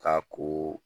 Ka ko